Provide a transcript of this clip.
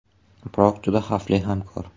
Biroq juda xavfli hamkor.